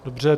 Dobře.